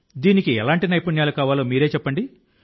దీనికి ఎలాంటి నైపుణ్యాలు కావాలో మీరే చెప్పండి